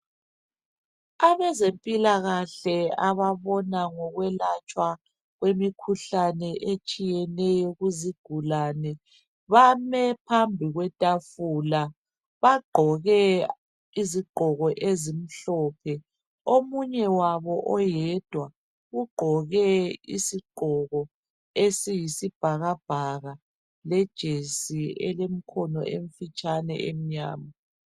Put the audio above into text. Abezempilakahle ababona ngokwelatshwa kwemikhuhlane etshiyeneyo kuzigulane bame phambi kwetafula bagqoke izigqoko ezimhlophe . Omunye wabo oyedwa ugqoke isigqoko esiyibhakabhaka lejesi elemkhono emfitshane emnyama.